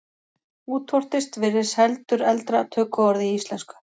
Útvortis virðist heldur eldra tökuorð í íslensku.